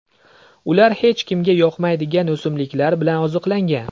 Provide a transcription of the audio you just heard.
Ular hech kimga yoqmaydigan o‘simliklar bilan oziqlangan.